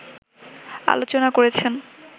আলোচনা করেছেন